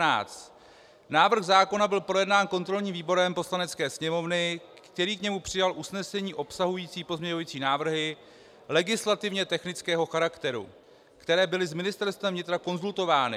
Návrh zákona byl projednán kontrolním výborem Poslanecké sněmovny, který k němu přijal usnesení obsahující pozměňovací návrhy legislativně technického charakteru, které byly s Ministerstvem vnitra konzultovány.